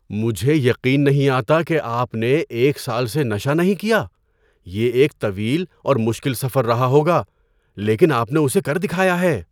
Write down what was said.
مجھے یقین نہیں آتا کہ آپ نے ایک سال سے نشہ نہیں کیا! یہ ایک طویل اور مشکل سفر رہا ہوگا، لیکن آپ نے اسے کر دکھایا ہے!